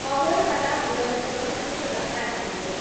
Agartala Udaipur Tripura passenger